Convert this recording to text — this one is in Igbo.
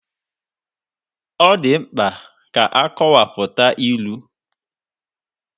Ọ dị mkpa ka akọwapụta ilu.